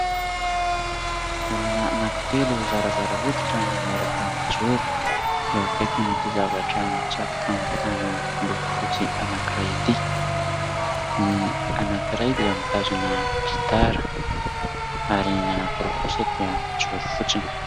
Olona anankitelo zarazara hoditra no miaraka mijoro, eo akaikin' ity zavatra mitsatoka amin'ny tany miloko fotsy anankiray ity, ny anankiray dia mitazona gitara ary anankiroa kosa dia mijoro fotsiny.